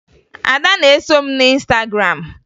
Ada na-eso m na Ịnstagram